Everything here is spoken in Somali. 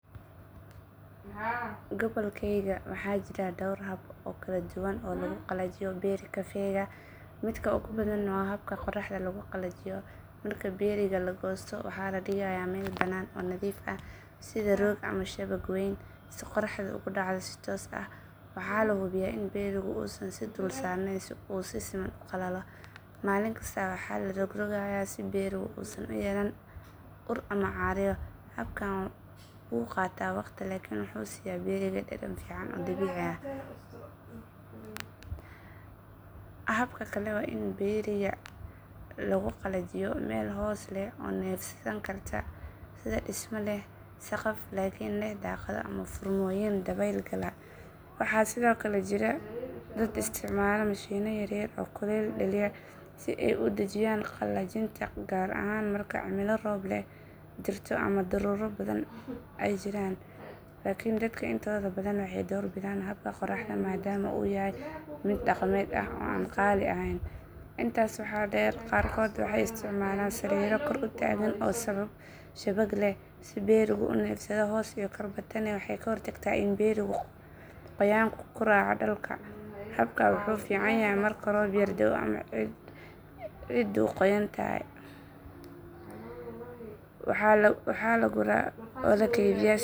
Gobolkayaga waxaa jira dhowr hab oo kala duwan oo lagu qalajiyo berry kafeega, midka ugu badan waa habka qorraxda lagu qalajiyo. Marka berryga la goosto, waxaa la dhigayaa meel bannaan oo nadiif ah, sida roog ama shabag weyn, si qorraxdu ugu dhacdo si toos ah. Waxaa la hubiyaa in berrygu uusan is dul saarnayn si uu si siman u qalalo. Maalin kasta waxaa la rogrogayaa si berrygu uusan u yeelan ur ama caaryo. Habkan wuu qaataa waqti laakiin wuxuu siisaa berryga dhadhan fiican oo dabiici ah. Hab kale waa in berryga lagu qalajiyo meel hoos leh oo neefsan karta, sida dhisme leh saqaf laakiin leh daaqado ama furmooyin dabayl gala. Waxaa sidoo kale jira dad isticmaala mashiinno yaryar oo kuleyl dhaliya si ay u dedejiyaan qalajinta, gaar ahaan marka cimilo roob leh jirto ama daruuro badan ay jiraan. Laakiin dadka intooda badan waxay door bidaan habka qorraxda maadaama uu yahay mid dhaqameed ah oo aan qaali ahayn. Intaa waxaa dheer, qaarkood waxay isticmaalaan sariiro kor u taagan oo shabag leh si berrygu u neefsado hoos iyo korba. Tani waxay ka hortagtaa in berrygu qoyaanku ka raaco dhulka. Habkan wuxuu fiican yahay marka roob yar da’o ama ciiddu qoyan tahay.